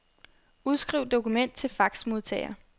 Udskriv dokument til faxmodtager.